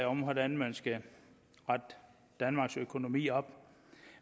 om hvordan man skal rette danmarks økonomi op